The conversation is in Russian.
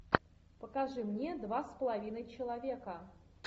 покажи мне два с половиной человека